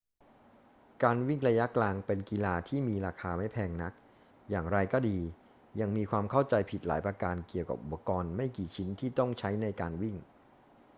การวิ่งระยะกลางเป็นกีฬาที่มีราคาไม่แพงนัก อย่างไรก็ดี ยังมีความเข้าใจผิดหลายประการเกี่ยวกับอุปกรณ์ไม่กี่ชิ้นที่ต้องใช้ในการวิ่ง